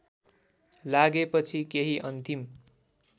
लागेपछि केही अन्तिम